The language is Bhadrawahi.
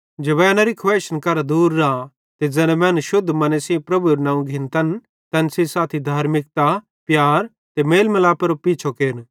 जवैनरी खुवैइशन करां दूर रा ते ज़ैना मैनू शुद्ध मने सेइं प्रभुएरू नवं घिन्तन तैन सेइं साथी धार्मिकता प्यार ते मेल मलापेरो पीछो केर